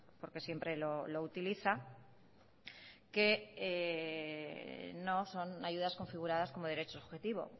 porque siempre lo utiliza que no son ayudas configuradas como derecho subjetivo